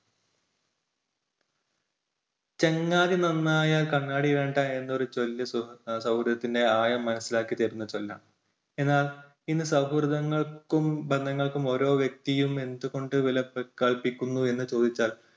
ചങ്ങാതി നന്നായാൽ കണ്ണാടി വേണ്ട എന്നൊരു ചൊല്ല് സൗഹൃദത്തിൻറെ ആഴം മനസ്സിലാക്കി തരുന്ന ചൊല്ലാണ്. എന്നാൽ ഇന്ന് സൗഹൃദങ്ങൾക്കും ബന്ധങ്ങൾക്കും ഓരോ വ്യക്തിയും എന്തുകൊണ്ട് വില കൽപ്പിക്കുന്നു എന്ന് ചോദിച്ചാൽ